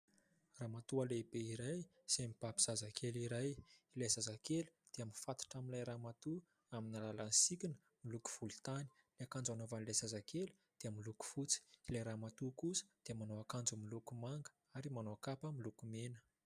Ramatoa lehibe iray izay mibaby zazakely iray, ilay zazakely dia mifatotra amin'ilay ramatoa amin'ny alalan'ny sikina miloko volontany, ny akanjo anaovan'ilay zazakely dia miloko fotsy, ilay ramatoa kosa dia manao akanjo miloko manga ary manao kapa miloko mena.